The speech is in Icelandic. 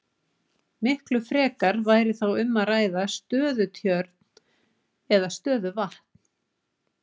Miklu frekar væri þá um að ræða stöðutjörn eða stöðuvatn.